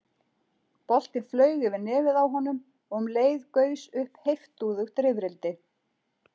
Boltinn flaug yfir nefið á honum og um leið gaus upp heiftúðugt rifrildi.